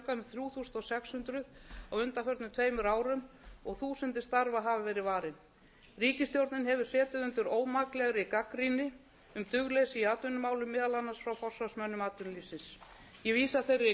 þrjú þúsund sex hundruð á undanförnum tveimur árum og þúsundir starfa hafa verið varin ríkisstjórnin hefur setið undir ómaklegri gagnrýni um dugleysi í atvinnumálum meðal annars frá forsvarsmönnum atvinnulífsins ég vísa þeirri gagnrýni